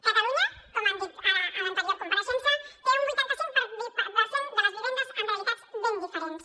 catalunya com han dit ara a l’anterior compareixença té un vuitanta cinc per cent de les vivendes amb realitats ben diferents